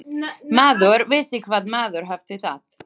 Maður vissi hvar maður hafði það.